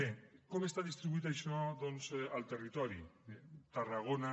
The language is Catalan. bé com està distribuït això doncs al territori bé tarragona